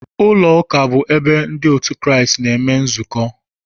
Ụlọụka bụ ebe ndị otu Kraịst na-eme nzukọ